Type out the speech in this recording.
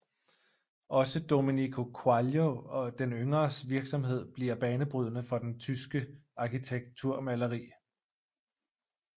Også Domenico Quaglio den yngres virksomhed bliver banebrydende for det tyske arkitekturmaleri